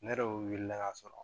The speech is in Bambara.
Ne yɛrɛ wulila ka sɔrɔ